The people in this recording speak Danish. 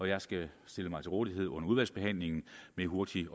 jeg skal stille mig til rådighed under udvalgsbehandlingen med hurtigt